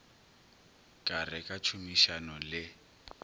ka re ka tšhomišano le